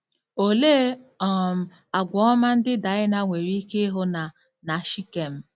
Olee um àgwà ọma ndị Daịna nwere ike ịhụ na na Shikem?